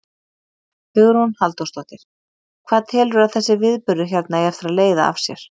Hugrún Halldórsdóttir: Hvað telurðu að þessi viðburður hérna eigi eftir að leiða af sér?